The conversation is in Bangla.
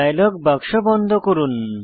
ডায়লগ বাক্স বন্ধ করুন